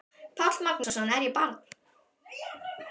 Páll Magnússon: Er ég barn?